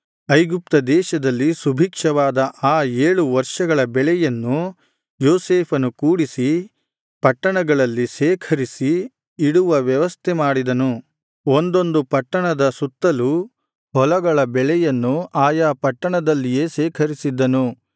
ಐಗುಪ್ತದೇಶದಲ್ಲಿ ಸುಭಿಕ್ಷವಾದ ಆ ಏಳು ವರ್ಷಗಳ ಬೆಳೆಯನ್ನು ಯೋಸೇಫನು ಕೂಡಿಸಿ ಪಟ್ಟಣಗಳಲ್ಲಿ ಶೇಖರಿಸಿ ಇಡುವ ವ್ಯವಸ್ಥೆಮಾಡಿದನು ಒಂದೊಂದು ಪಟ್ಟಣದ ಸುತ್ತಲೂ ಹೊಲಗಳ ಬೆಳೆಯನ್ನು ಆಯಾ ಪಟ್ಟಣದಲ್ಲಿಯೇ ಶೇಖರಿಸಿದ್ದನು